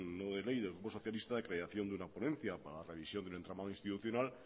no de ley del grupo socialista de creación de una ponencia para la revisión del entramado institucional